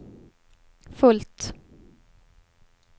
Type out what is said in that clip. fullt